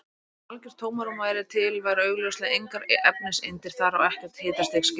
Ef algjört tómarúm væri til væru augljóslega engar efniseindir þar og ekkert hitastig skilgreint.